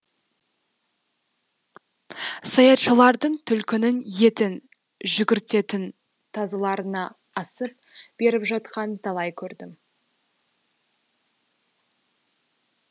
саятшылардың түлкінің етін жүгіртетін тазыларына асып беріп жатқанын талай көрдім